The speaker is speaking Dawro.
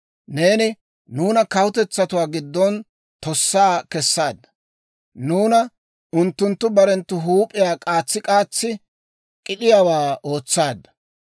Neeni nuuna kawutetsatuwaa giddon tossaa kessaadda; nuuna unttunttu barenttu huup'iyaa k'aatsi k'aatsi k'id'iyaawaa ootsaadda.